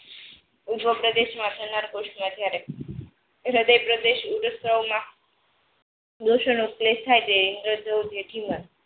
ઉજવ પ્રદેશમાં થનાર પુસ્થ જ્યારે હૃદય પ્રદેશ ઉદસ્તાવો માં દોષણ